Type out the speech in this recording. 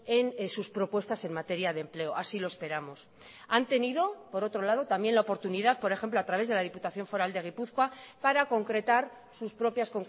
en sus propuestas en materia de empleo así lo esperamos han tenido por otro lado también la oportunidad por ejemplo a través de la diputación foral de gipuzkoa para concretar sus propias